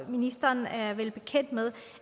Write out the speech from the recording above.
ministeren er vel bekendt med